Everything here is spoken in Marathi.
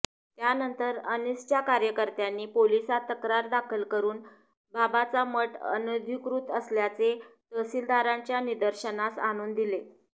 त्यानंतर अंनिसच्या कार्यकर्त्यांनी पोलिसात तक्रार दाखल करून बाबाचा मठ अनधिकृत असल्याचे तहसीलदारांच्या निदर्शनास आणून दिले